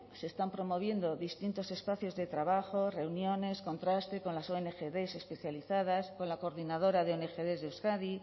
se están promoviendo distintos espacios de trabajo reuniones contraste con las ongd especializadas con la coordinadora de ongd de euskadi